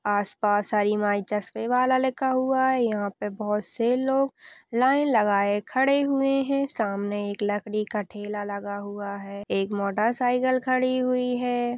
पास पास हरी माई चश्मे वाला लिखा हुआ है यहाँ पे बहुत से लोग लाइन लगाय खड़े हुए हैं सामने एक लकड़ी का ठेला लगा हुआ है एक मोटर साईकल खडी हुई है।